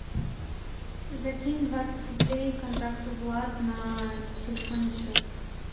закинь двадцать рублей контакту влад на телефонный счет